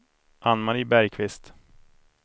Ann-Marie Bergqvist